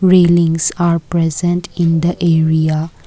railings are present in the area.